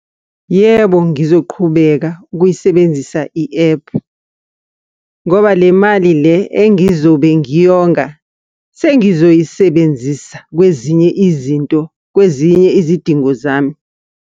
Yebo, ngizoqhubeka ukuyisebenzisa i-ephu, ngoba le mali le engizobe ngiyonga, sengizoyisebenzisa kwezinye izinto, kwezinye izidingo zami.